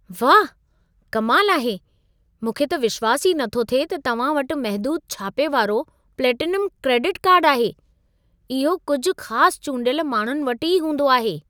वाह! कमाल आहे! मूंखे त विश्वासु ई नथो थिए त तव्हां वटि महदूदु छापे वारो प्लेटिनम क्रेडिट कार्डु आहे। इहो कुझि ख़ास चूंडियल माण्हुनि वटि ई हूंदो आहे।